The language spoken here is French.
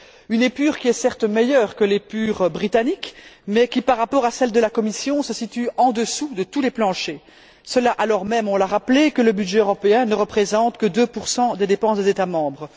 Une épure qui est, certes, meilleure que l'épure britannique mais qui, par rapport à celle de la Commission, se situe en dessous de tous les planchers, cela alors même on l'a rappelé que le budget européen ne représente que 2 des dépenses des États membres.